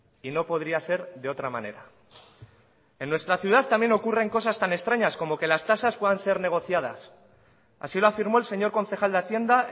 y no podría ser de otra manera en nuestra ciudad también ocurren cosas tan extrañas como que las tasas puedan ser negociadas así lo afirmó el señor concejal de hacienda